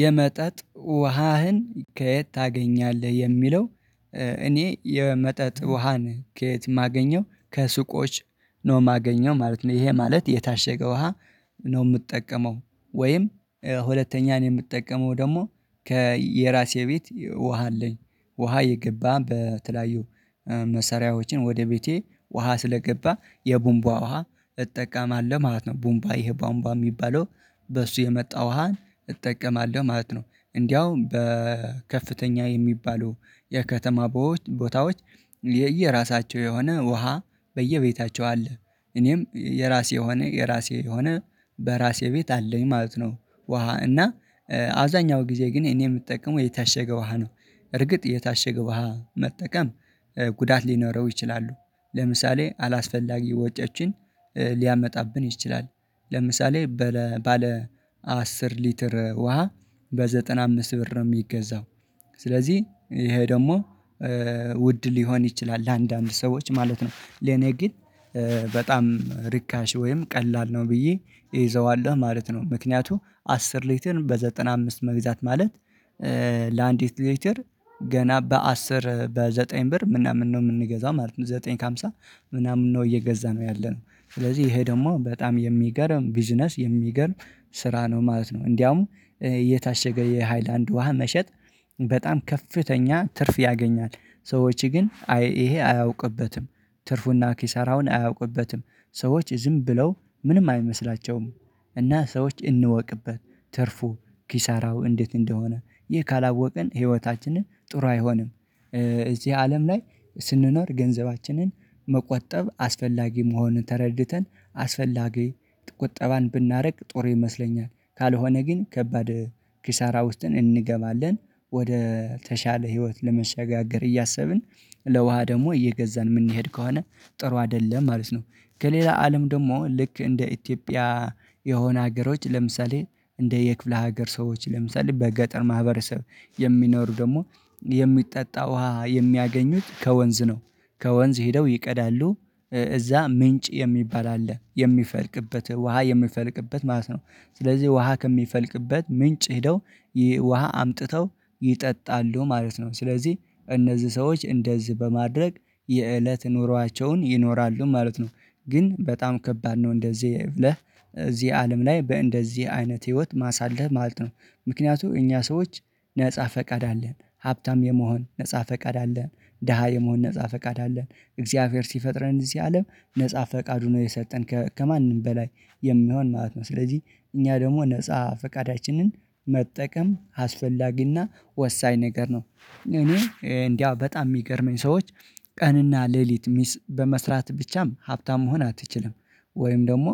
የመጠጥ ውሃህን ከየት ታገኛለህ የሚለው? እኔ የመጠጥ ውሃን ከየት የማገኘው ከሱቆች ነው ማገኘው ማለት ነው ይሄ ማለት የታሸገ ውሃ ነው ምጠቀመው ወይም ሁለተኛን የምጠቀመው ደግሞ ከየራሴ ቤት ውሃ አለኝ ውሃ የገባን በተለያዩ መሰሪያዎችን ወደ ቤቴ ውሃ ስለገባ የቡንቧ ውሃ እጠቀማለሁ ማለት ነው። ቡንቧ ይሄ ባንቧ የሚባለው በሱ የመጣ ውሃን እጠቀማለሁ ማለት ነው። እንደውም በከፍተኛ የሚባሉ የከተማ ቦታዎች የየራሳቸው የሆነ ውሃ በየቤታቸው አለ እኔም የራሴ የሆነ የራሴ የሆነ በራሴ ቤት አለኝ ማለት ነው። ውሃ እና አብዛኛው ጊዜ ግን እኔ የምጠቀመው የታሸገ ውሃ ነው። በእርግጥ የታሸገ ውሃ መጠቀም ጉዳት ሊኖረው ይችላሉ። ለምሳሌ አላስፈላጊ ወጪዎችን ሊያመጣብን ይችላል። ለምሳሌ ባለ አስር ሊትር ውሃ በዘጠና አምስት ብር ነው የሚገዛው ስለዚህ ይሄ ደግሞ ውድ ሊሆን ይችላል ለአንዳንድ ሰዎች ማለት ነው። ለኔ ግን በጣም ርካሽ ወይም ቀላል ነው ብዬ እይዘዋለሁ ማለት ነው። ምክንያቱም አስር ሊትር በዘጠና አምስት መግዛት ማለት ለአንዲት ሊትር ገና በአስር በዘጠኝ ብር ምናምን ነው የምንገዛው ማለት ነው። ዘጠኝ ከሃምሳ ምናምን ነው እየገዛ ነው ያለነው ስለዚህ ይሄ ደግሞ በጣም ሚገርም ቢዝነስ ሚገርም ስራ ነው ማለት ነው። እንዲያውም የታሸገ የሃይላንድ ውሃ መሸጥ በጣም ከፍተኛ ትርፍ ያገኛል። ሰዎች ግን ይሄ አያውቅበትም ትርፉና ኪሳራውን አያውቅበትም ሰዎች ዝም ብለው ምንም አይመስላቸውም። እና ሰዎች እንወቅበት ትርፉ ኪሳራው እንዴት እንደሆነ ይህ ካላወቅን ህይወታችንን ጥሩ አይሆንም። እዚህ አለም ላይ ስንኖር ገንዘባችንን መቆጠብ አስፈላጊ መሆንን ተረድተን አስፈላጊ ቁጠባን ብናርቅ ጥሩ ይመስለኛል። ካልሆነ ግን ከባድ ኪሳራ ውስጥን እንገባለን። ወደ ተሻለ ህይወት ለመሸጋገር እያሰብን ለውሃ ደግሞ እየገዛን ምንሄድ ከሆነ ጥሩ አደለም ማለት ነው። ከሌላ አለም ደግሞ ልክ እንደ ኢትዮጵያ የሆነ ሀገሮች ለምሳሌ እንደ የክፍለ ሀገር ሰዎች ለምሳሌ በገጠር ማህበረሰብ የሚኖሩ ደግሞ የሚጠጣ ውሃ የሚያገኙት ከወንዝ ነው። ከወንዝ ሄደው ይቀዳሉ እዛ ምንጭ ሚባል አለ የሚፈልቅበት ውሃ የሚፈልቅበት ማለት ነው። ስለዚህ ውሃ ከሚፈልቅበት ምንጭ ሄደው ይሄ ውሃ አምጥተው ይጠጣሉ ማለት ነው። ስለዚህ እነዚህ ሰዎች እንደዚህ በማድረግ የእለት ኑሯቸውን ይኖራሉ ማለት ነው። ግን በጣም ከባድ ነው እንደዚህ ብለህ እዚህ አለም ላይ በእንደዚህ አይነት ህይወት ማሳለፍ ማለት ነው። ምክንያቱም እኛ ሰዎች ነፃ ፈቃድ አለን ሀብታም የመሆን ነፃ ፈቃድ አለን ደሃ የመሆን ነፃ ፈቃድ አለን አላህ ሲፈጥረን እዚህ አለም ነፃ ፈቃዱ ነው የሰጠን ከማንም በላይ የሚሆን ማለት ነው። ስለዚህ እኛ ደግሞ ነፃ ፈቃዳችንን መጠቀም አስፈላጊና ወሳኝ ነገር ነው። እኔ እንደው በጣም የሚገርመኝ ሰዎች ቀንና ሌሊት ሚስ በመስራት ብቻም ሀብታም መሆን አትችልም ወይም ደግሞ